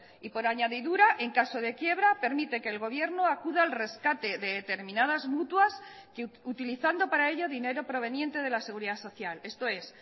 y por añadidura en caso de quiebra permite que el gobierno acuda al rescate de determinadas mutuas utilizando para ello dinero proveniente de la seguridad social esto es